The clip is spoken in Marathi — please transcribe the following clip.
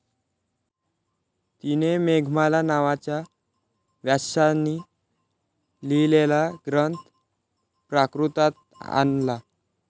तिने 'मेघमाला ' नावाचा व्यासांनी लिहिलेला ग्रंथ प्राकृतात आणला.